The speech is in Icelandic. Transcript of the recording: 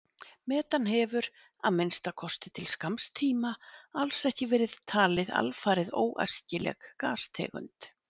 Metan hefur, að minnsta kosti til skamms tíma, alls ekki verið talið alfarið óæskileg gastegund.